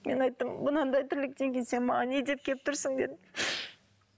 мен айттым мынандай тірліктен кейін сен маған не деп келіп тұрсың дедім